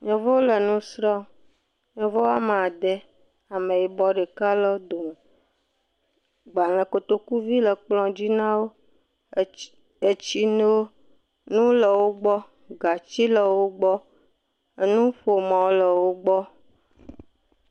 Yevuwo le nusrm. yevu woa me ade, ame yibɔ ɖeka le wodo me. Gbalẽ kotokuvi le kplɔ dzi nawo, etsi, etsi nunu le wogbɔ, gatsi le wogbɔ. Enuƒomɔ le wogbɔ.